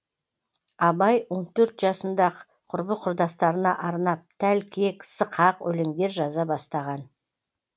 абай он төрт жасында ақ құрбы құрдастарына арнап тәлкек сықақ өлендер жаза бастаған